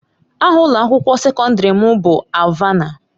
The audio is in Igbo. Aha ụlọ akwụkwọ sekọndrị m bụ Alvana.